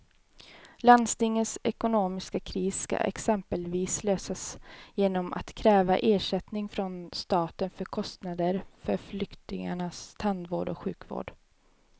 Landstingets ekonomiska kris ska exempelvis lösas genom att kräva ersättning från staten för kostnader för flyktingars tandvård och sjukvård.